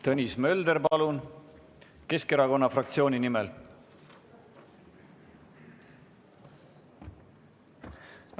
Tõnis Mölder, palun, Keskerakonna fraktsiooni nimel!